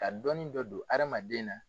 Ka dɔɔnin dɔ don hadamaden na.